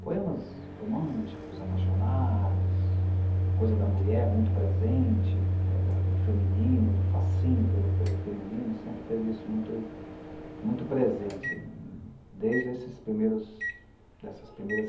Poemas românticos, apaixonados, a coisa da mulher muito presente, da da do feminino, do fascínio pelo pelo feminino, sempre teve isso muito muito presente, desde esses primeiros, dessas primeiras